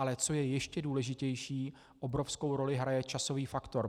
Ale co je ještě důležitější, obrovskou roli hraje časový faktor.